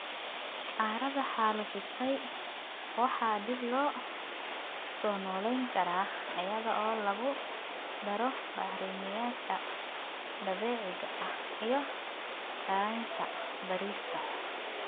Carrada xaalufisay waxa dib loo soo noolayn karaa iyada oo lagu daro bacrimiyeyaasha dabiiciga ah iyo yaraynta beerista.